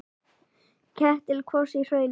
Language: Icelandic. Ketill kvos í hrauni.